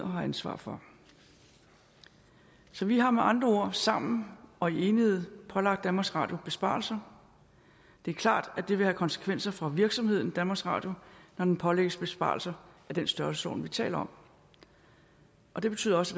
har ansvar for så vi har med andre ord sammen og i enighed pålagt danmarks radio besparelser det er klart at det vil have konsekvenser for virksomheden danmarks radio når den pålægges besparelser i den størrelsesorden vi taler om og det betyder også